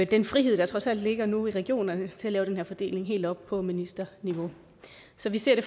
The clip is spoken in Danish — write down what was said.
den frihed der trods alt ligger nu i regionerne til at lave den her fordeling helt op på ministerniveau så vi ser det